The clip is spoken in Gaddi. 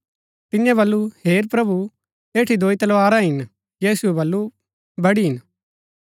तियें बल्लू हेर प्रभु ऐठी दोई तलवारा हिन यीशुऐ बल्लू बड़ी हिन